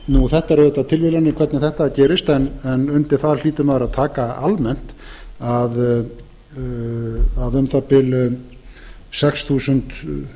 það er auðvitað tilviljun hvernig þetta gerist en undir það hlýtur maður að taka almennt það er auðvitað hlálegt að um